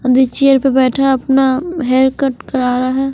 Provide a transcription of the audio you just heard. अंदर चेयर पर बेठा अपना हेयर कट करवा रहा है।